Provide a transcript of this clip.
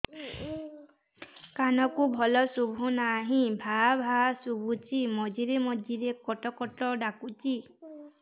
କାନକୁ ଭଲ ଶୁଭୁ ନାହିଁ ଭାଆ ଭାଆ ଶୁଭୁଚି ମଝିରେ ମଝିରେ କଟ କଟ ଡାକୁଚି